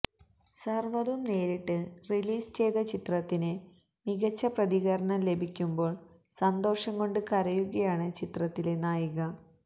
സര്വ്വതും നേരിട്ട് റിലീസ് ചെയ്ത ചിത്രത്തിന് മികച്ച പ്രതികരണം ലഭിയ്ക്കുമ്പോള് സന്തോഷം കൊണ്ട് കരയുകയാണ് ചിത്രത്തിലെ നായിക